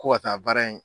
Ko ka taa baara in